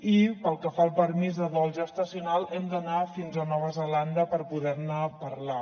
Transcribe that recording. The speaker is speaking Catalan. i pel que fa al permís de dol gestacional hem d’anar fins a nova zelanda per poder ne parlar